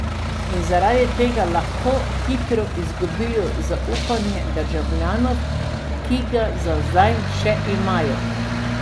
In zaradi tega lahko hitro izgubijo zaupanje državljanov, ki ga za zdaj še imajo.